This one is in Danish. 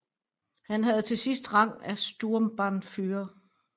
Han havde til sidst rang af Sturmbannführer